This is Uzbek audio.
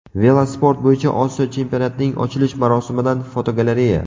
Velosport bo‘yicha Osiyo chempionatining ochilish marosimidan fotogalereya.